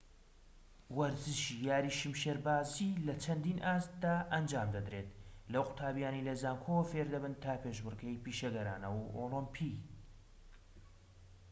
وەرزشی یاری شمشێربازی لە چەندین ئاستدا ئەنجام دەدرێت لەو قوتابیانەی لەزانکۆوە فێردەبن تا پێشبڕکێی پیشەگەرانە و ئۆلیمپی